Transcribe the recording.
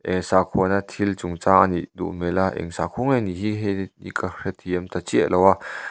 eee sakhuana thil chungchang anih duh hmel a eng sakhua nge nih hi hei hi ka hrethiam ta chiah lo a.